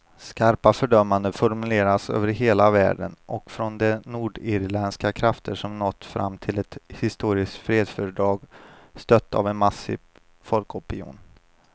Skarpa fördömanden formuleras över hela världen och från de nordirländska krafter som nått fram till ett historiskt fredsfördrag, stött av en massiv folkopinion.